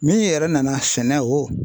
Min yɛrɛ nana sɛnɛ o